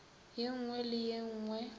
ye nngwe le ye nngwe